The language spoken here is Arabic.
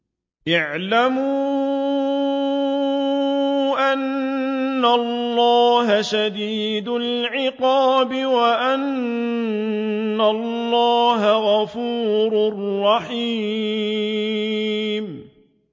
اعْلَمُوا أَنَّ اللَّهَ شَدِيدُ الْعِقَابِ وَأَنَّ اللَّهَ غَفُورٌ رَّحِيمٌ